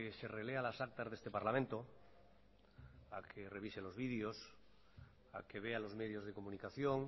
se relea las actas de este parlamento a que revise los videos a que vea los medios de comunicación